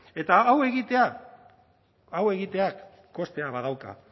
eta hau egiteak hau egiteak kostea badauka